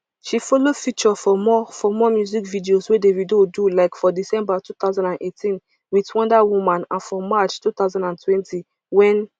she follow feature for more for more music videos wey davido do like for december two thousand and eighteen wit wonder woman and for march two thousand and twenty wen